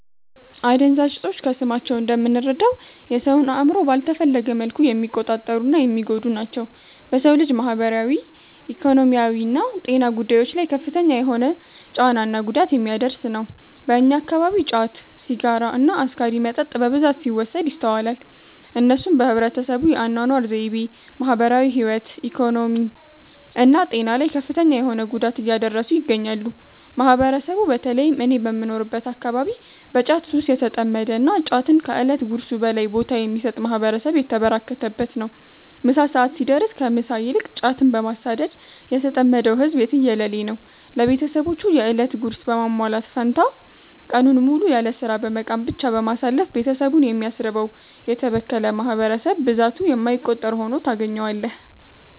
አደንዛዥ እፆች ከስማቸው እንደምንረዳው የ ሰውን አእምሮ ባልተፈለገ መልኩ የሚቆጣጠሩ እና የሚጎዱ ናቸው። በ ሰው ልጅ ማህበራዊ፣ ኢኮኖሚያዊና ጤና ጉዳዮች ላይ ከፍተኛ የሆነ ጫና እና ጉዳት የሚያደርስ ነው። በእኛ አከባቢ ጫት፣ ሲጋራ እና አስካሪ መጠጥ በብዛት ሲወሰድ ይስተዋላል። እነሱም በህብረተሰቡ የ አናኗር ዘይቤ፣ ማህበራዊ ህይወት፣ ኢኮኖሚ እና ጤና ላይ ከፍተኛ የሆነ ጉዳት እያደረሱ ይገኛሉ። ማህበረሰቡ በ ተለይም እኔ በምኖርበት አከባቢ በ ጫት ሱስ የተጠመደ እና ጫትን ከ እለት ጉርሱ በላይ ቦታ የሚሰጥ ማህበረሰብ የተበራከተበት ነው። ምሳ ሰዐት ሲደርስ ከ ምሳ ይልቅ ጫትን በማሳደድ የተጠመደው ህዝብ የትየለሌ ነው። ለቤትሰቦቹ የ እለት ጉርስ በማሟላት ፈንታ ቀኑን ሙሉ ያለስራ በመቃም ብቻ በማሳለፍ ቤትሰቡን የሚያስርበው: የተበከለ ማህበረሰብ ብዛቱ የማይቆጠር ሁኖ ታገኛዋለህ።